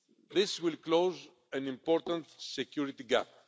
This will close an important security gap.